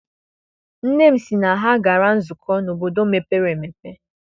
Nne m sị na ha gara nzukọ n'obodo mepere emepe.